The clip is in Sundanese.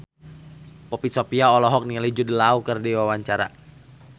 Poppy Sovia olohok ningali Jude Law keur diwawancara